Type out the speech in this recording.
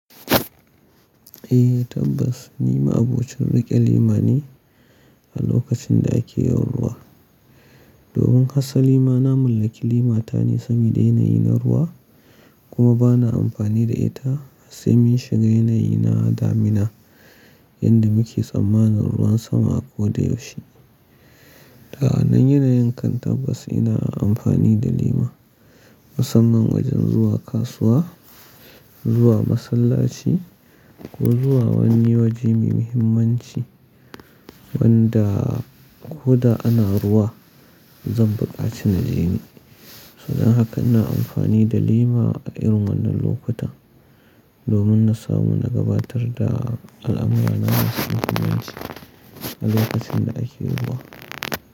Eh, tabbas, ni ma'abocin riƙe lema ne a lokacin da ake yin ruwa. Domin asali ma na mallaki lema ta ne, sabida yanayi na ruwa kuma bana amfani da ita sai mun shiga yanayi na damina yadda muke tsammanin ruwan sama a koda yaushe. Sa'annan yanayin kan tabbas ina amfani da lema, musamman wajen zuwa kasuwa, zuwa masallaci ko zuwa wani waje mai muhimmanci wanda ko da ana ruwa zan buƙaci na je ni. Saboda haka ina amfani da lema a irin wannan lokutan domin na samu na gabatar da al'amura na masu muhimmanci a lokacin da ake ruwa.